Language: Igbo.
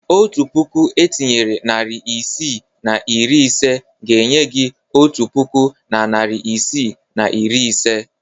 Otu puku etinyere narị isii na iri ise ga-enye gị otu puku na narị isii na iri ise.